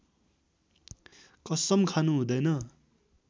कसम खानु हुँदैन